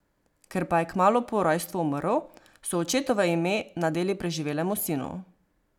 Ker pa je kmalu po rojstvu umrl, so očetovo ime nadeli preživelemu sinu.